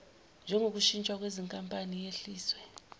njengoshintshwa kwezinkampani yehliswe